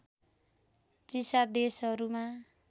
चिसा देशहरूमा